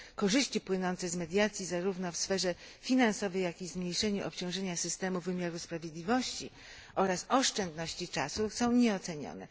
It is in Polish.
Korzyści płynące z mediacji, zarówno w sferze finansowej, jak i w zmniejszeniu obciążenia systemu wymiaru sprawiedliwości, oraz oszczędności czasu, są nieocenione.